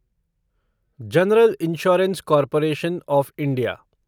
general insurance corporation of India